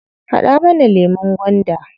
Haɗa mana lemun gwanda.